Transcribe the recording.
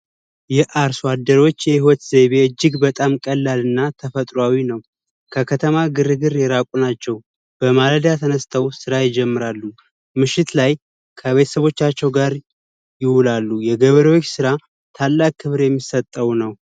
የአርሶ አደሮች የህይወት ዘይቤ እጅግ በጣም ቀላል እና ተፈጥሯዊ ነው። ከከተማ ግርግር የራቁ ናቸው። በማለዳ ተነስተው ስራ ይጀምራሉ። ምሽት ላይ ከቤተሰቦቻቸው ጋር ይውላሉ። የገበሬዎች ስራ ታላቅ ክብር የሚሰጠው ነው።